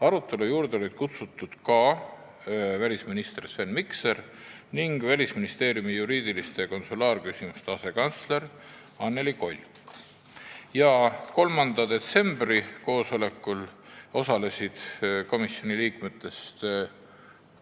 Arutelule oli kutsutud ka välisminister Sven Mikser ning Välisministeeriumi juriidiliste ja konsulaarküsimuste asekantsler Annely Kolk. 3. detsembri koosolekul osalesid komisjoni liikmetest